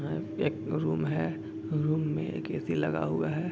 एक रूम है रूम में एक ऐ.सी. लगा हुआ है |